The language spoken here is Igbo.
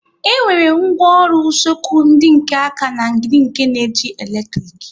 E nwere ngwaọrụ usekwu ndị nke áká na ndị nke na-eji eletrik